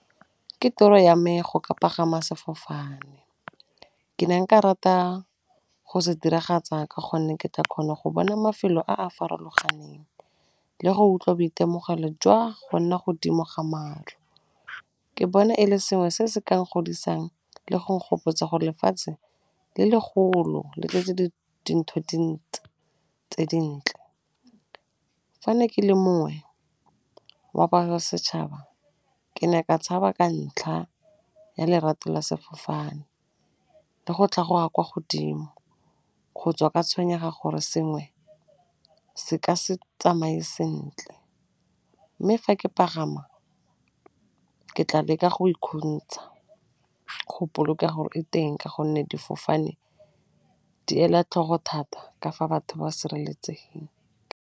Ke toro ya me go ka pagama sefofane, ke ne nka rata go se diragatsa ka gonne ke tle ke kgona go bona mafelo a a farologaneng, le go utlwa boitemogelo jwa go nna godimo ga maru, ke bona e le sengwe se se keng n-godisang le go n-gopotsa go lefatshe le le golo, le tse dintsi tse dintle. Fa ne ke le mongwe wa ba setšhaba, ke ne ka tshaba ka ntlha ya lerato la sefofane le go tla kwa godimo, go tswa ka tshwenyega gore sengwe se ka se tsamaye sentle, mme fa ke pagama ke tla leka go go boloka teng ka gonne difofane di ela tlhogo thata ka fa batho ba sireletseng .